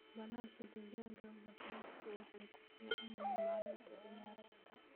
baalasha digaaga basbaasku waxay ku fiican yihiin maalinta ciyaarta.